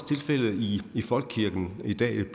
tilfældet i folkekirken i dag